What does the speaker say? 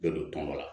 Ne don tɔmɔ la